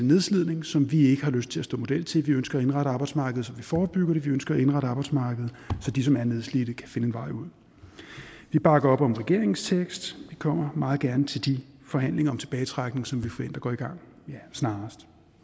nedslidning som vi ikke har lyst til at stå model til vi ønsker at indrette arbejdsmarkedet så vi forebygger det vi ønsker at indrette arbejdsmarkedet så de som er nedslidte kan finde en vej ud vi bakker op om regeringens tekst vi kommer meget gerne til de forhandlinger om tilbagetrækning som vi forventer går i gang snarest